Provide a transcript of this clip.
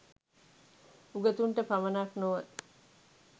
උගතුන්ට පමණක් නොව